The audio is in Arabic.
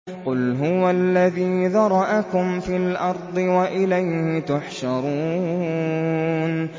قُلْ هُوَ الَّذِي ذَرَأَكُمْ فِي الْأَرْضِ وَإِلَيْهِ تُحْشَرُونَ